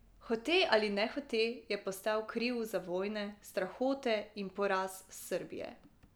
Hote ali nehote je postal kriv za vojne, strahote in poraz Srbije.